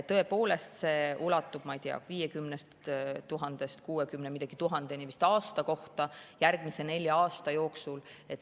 Tõepoolest, see ulatub, ma ei tea, 50 000-st kuuekümne midagi tuhandeni vist aasta kohta järgmise nelja aasta jooksul.